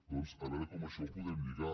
doncs a veure com això ho podem lligar